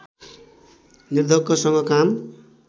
निर्धक्कसँग काम